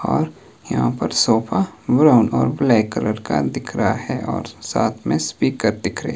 और यहां पर सोफा ब्राउन और ब्लैक कलर का दिख रहा है और साथ में स्पीकर दिख रहे --